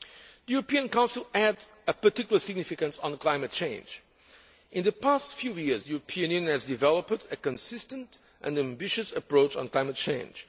The European Council had a particular significance for climate change. In the past few years, the European Union has developed a consistent and ambitious approach on climate change.